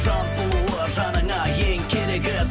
жан сұлуы жаныңа ең керегі